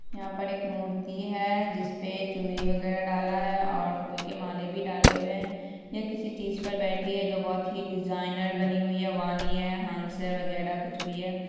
यहां पर एक मूर्ति है जिस पे चुंदरी वगेरा डाला है और फुल के माले भी डाले हुए है यह किसी चीज पर बैठी है जो बहुत ही डिजाइनर बनी हुई है वाणी है हंस है वगेरा कुछ भी है ।